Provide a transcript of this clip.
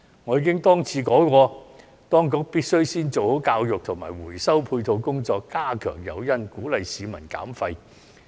我已經多次說過，當局必須先做好教育及回收配套工作，加強誘因，鼓勵市民減廢。